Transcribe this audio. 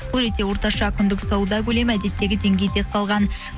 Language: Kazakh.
бұл ретте орташа күндік сауда көлемі әдеттегі деңгейде қалған